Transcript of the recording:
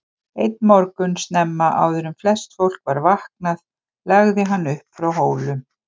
Einn morgun snemma, áður en flest fólk var vaknaði lagði hann upp frá Hólum.